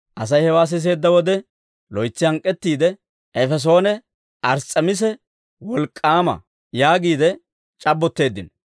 Asay hewaa siseedda wode loytsi hank'k'ettiide «Efesoone Ars's'emiisa wolk'k'aama» yaagiide c'abbotteeddino.